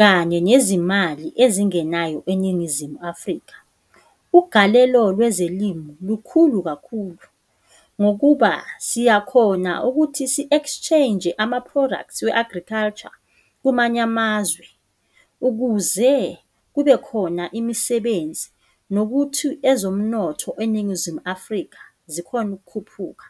kanye nezimali ezingenayo eNingizimu Afrika. Ugalelo lwezilimi lukhulu kakhulu, ngokuba siyakhona ukuthi si-exchange ama-products we-agriculture kumanye amazwe ukuze kubekhona imisebenzi nokuthi ezomnotho eNingizimu Afrika zikhone ukukhuphuka.